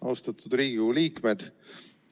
Austatud Riigikogu liikmed!